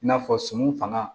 I n'a fɔ sɔmi fana